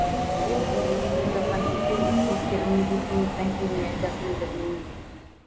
мен жұмысым қызып жатқан кезде өз кейіпкерімнің бес минуттан кейін не айтатынын білмеймін